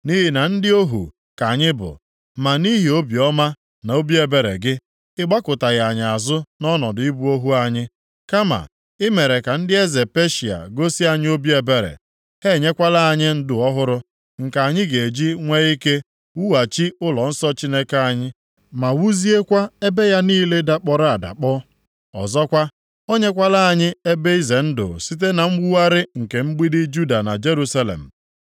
Nʼihi na ndị ohu + 9:9 Ndị ohu Nʼoge a ndị Juu nọọ nʼokpuru ọchịchị alaeze ọzọ. \+xt Neh 9:36; Dit 28:47-48\+xt* ka anyị bụ, ma nʼihi obiọma na obi ebere gị, ị gbakụtaghị anyị azụ nʼọnọdụ ịbụ ohu anyị. Kama i mere ka ndị eze Peshịa gosi anyị obi ebere. Ha enyekwala anyị ndụ ọhụrụ, nke anyị ga-eji nwee ike wughachi ụlọnsọ Chineke anyị, ma wuziekwa ebe ya niile dakpọrọ adakpọ. Ọzọkwa, o nyekwala anyị ebe ize ndụ site na mwugharị nke mgbidi Juda na Jerusalem.